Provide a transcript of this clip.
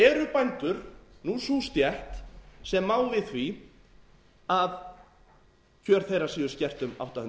eru bænda nú sú stétt sem má við því að kjör þeirra séu skert um átta